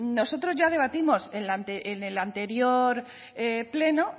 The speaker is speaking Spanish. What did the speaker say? nosotros ya debatimos en el anterior pleno